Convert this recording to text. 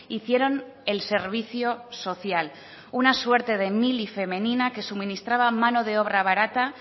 hicieron el servicio social una suerte de mili femenina que suministraba mano de obra barata